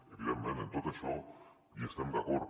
evidentment en tot això estem d’acord